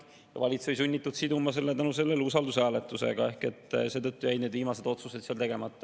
Seetõttu oli valitsus sunnitud siduma selle usaldushääletusega ehk seetõttu jäid need viimased otsused seal tegemata.